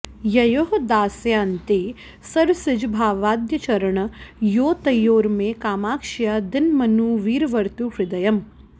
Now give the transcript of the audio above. ययोः दासायन्ते सरसिजभवाद्याश्चरणयोः तयोर्मे कामाक्ष्या दिनमनु वरीवर्तु हृदयम्